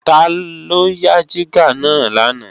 Taló yá jígà náà lánàá